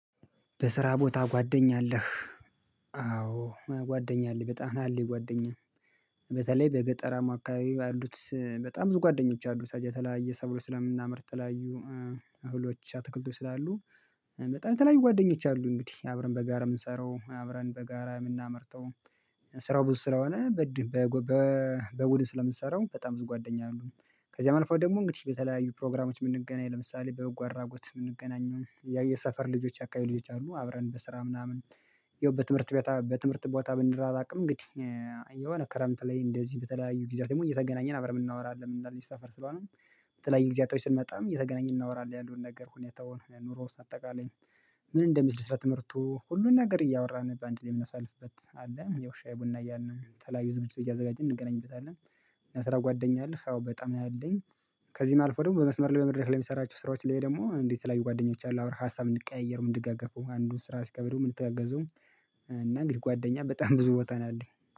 በስራ ቦታ ጓደኛ አለህ? አዎ ጓደኛ አለኝ በጣም አለኝ ጓደኛ በተለይ በገጠራማ አካባቢ ባሉት በጣም ብዙ ጓደኞች አሉ። የተለያየ ሰብሎች ስለምናመርት ተለያዩ አህሎች አትክልት ስላሉ በጣም ተለያዩ ጓደኞች አሉ እንግዲህ አብረን በጋራ የምንሰራው አብረን በጋራ የምናመርጠው ስራው ብዙ ስራ ሆነ በድ በቡድን ስለምትሰራው በጣም ብዙ ጓደኛ አሉ ከዚያም አልፎ ደግሞ እንግዲህ በተለያዩ ፕሮግራሞች የምንገናኝ ለምሳሌ በንጎ አድራጎት የምንገናኝ የሰፈር ልጆች አካባቢ ልጆች አሉ አብረን በስራ ምናምን ያው በትምህርት በትምህርት ቦታ ብንራራቅም እንግዲህ የሆነ ክረምት ላይ እንደዚህ በተለያዩ ጊዜያት ደግሞ እየተገናኘን አብረን እናወራለን አንድ ሰፈር ስለሆነ በተለያዩ ጊዜያቶች ስንመጣም እየትገናኘን እናወራለን ያለውን ነገር ሁኔታውን ኑሮ አጠቃላይ ምን እንደሚስል ስራ ትምህርቱ ሁሉን ነገር እያወራ ነው በአንድ ላይ የምናሳልፍበት አለ ያው ሻይ ቡና እያልን ተለያዩ ዝግጅቶች እያዘጋጀን እንገናኝበታለን እና ስራ ጓደኛ አለህ? አዎ በጣም አለኝ። ከዚህም አልፎ ደግሞ በመስመር ላይ መድረክ ለምሰራችሁ ስራዎች ላይ ደግሞ የተለያዩ ጓደኞች አሉ ሀሳብ እንቀያየር እንድገገፉ አንዱን ስራ ሲከብደው የምንተጋገዘው እና እንግዲህ ጓደኛ በጣም ብዙ ቦታ ነው ያለኝ